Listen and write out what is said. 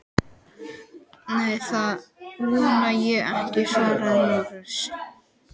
Nei, það vona ég ekki, svaraði Lárus.